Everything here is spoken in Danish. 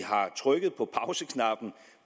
har trykket